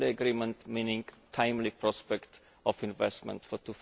By timely agreement, I mean a timely prospect for investment for